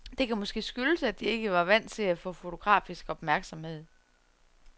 Det kan måske skyldes, at de ikke var vant til at få fotografisk opmærksomhed.